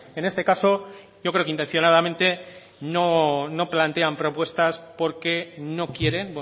en este caso yo creo que intencionadamente no plantean propuestas porque no quieren